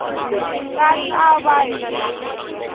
xi nga ta va hi